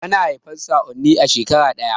Ana haifan sa'oi ne a shekara ɗaya